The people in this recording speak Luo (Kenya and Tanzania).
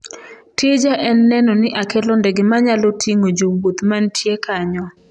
""Tija en neno ni akelo ndege manyalo ting'o jowuoth mantie kanyo."""